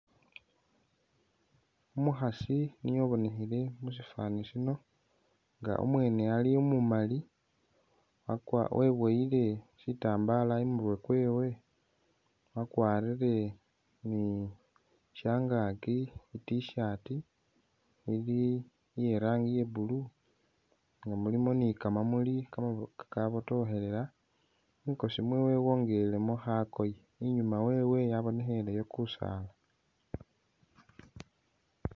Umukhasi niye ubonekhele musifani sino nga u mwene ali umumali weboyile shitambala imurwe kwewe wakwarire ni shyangakyi i T'shirt ili iye rangi iya blue mulimo ni ka mamuli ka kabotokhelela mwikosi mwewe wongelemo khakoye inyuma wewe yabonekheleyo kusaala.